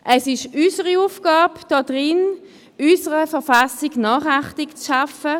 Es ist unsere Aufgabe in diesem Rat, unserer Verfassung Nachachtung zu verschaffen.